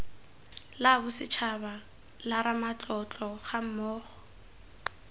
la bosetshaba la ramatlotlo gammogo